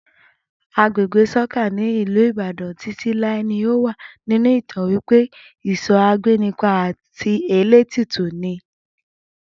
Agbègbè sókà ní ìlú Ìbàdàn Títí láé ni ọ wá nínú ìtàn wípé iso agbénipa àti elétùtù ni